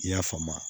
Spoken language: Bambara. I y'a faamu